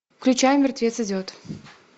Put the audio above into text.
включай мертвец идет